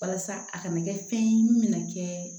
Walasa a kana kɛ fɛn ye min mɛna kɛ